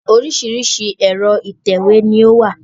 Oríṣiríṣi ẹ̀rọ ìtẹ̀wé ni o wà.